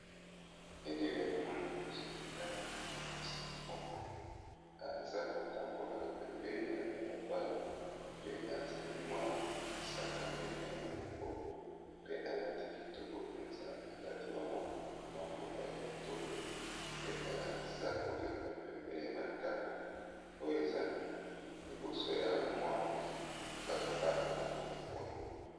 Elili oyo no moni liboso na ngai na moni mwasi moko aza kotambola pembeni ya balabala pe asimbi mwa sac à main, naye na loboko pe alati kitoko mpenza alati ba maputa ya kitoko pe aza koleka pembeni ya bandako oyo eza liboso ya mwa balabala moko boye .